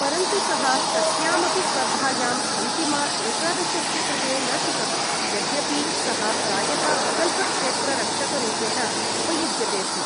परन्तु, सः कस्याम् अपि स्पर्धायाम् अन्तिम एकादशस्य कृते न चितः, यद्यपि सः प्रायः विकल्प क्षेत्ररक्षकरूपेण उपयुज्यते स्म।